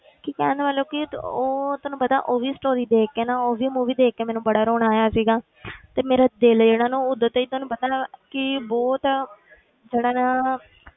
ਕਿ ਕਹਿਣ ਦਾ ਮਤਲਬ ਕਿ ਉਹ ਤੁਹਾਨੂੰ ਪਤਾ ਉਹੀ story ਦੇਖ ਕੇ ਨਾ ਉਹ ਵੀ movie ਦੇਖ ਕੇ ਮੈਨੂੰ ਬੜਾ ਰੌਣਾ ਆਇਆ ਸੀਗਾ ਤੇ ਮੇਰਾ ਦਿਲ ਜਿਹੜਾ ਨਾ ਉਦੋਂ ਤੋਂ ਹੀ ਤੁਹਾਨੂੰ ਪਤਾ ਕਿ ਬਹੁਤ ਜਿਹੜਾ ਨਾ